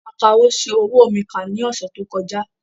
Akawò ṣi owó mi kà ní ọ̀sẹ̀ tó kọjá